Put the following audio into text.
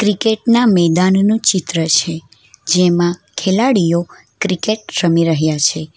Cricket ના મેદાનનું ચિત્ર છે જેમાં ખેલાડીઓ ક્રિકેટ રમી રહ્યા છે.